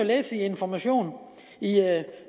læse i information i